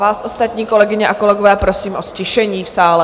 Vás ostatní, kolegyně a kolegové, prosím o ztišení v sále.